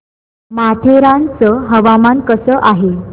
माथेरान चं हवामान कसं आहे